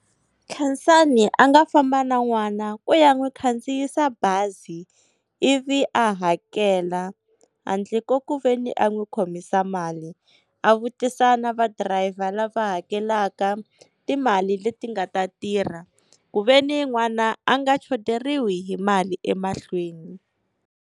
Khensani a nga famba na n'wana ku ya n'wi khandziyisa bazi, ivi a hakela handle ko ku veni a n'wi khomisa mali. A vutisa na va driver lava hakelaka timali leti nga ta tirha ku veni n'wana a nga xoteriwi hi mali emahlweni.